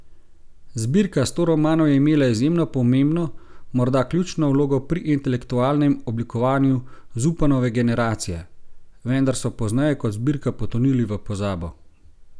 Zbirka Sto romanov je imela izjemno pomembno, morda ključno vlogo pri intelektualnem oblikovanju Zupanove generacije, vendar so pozneje kot zbirka potonili v pozabo.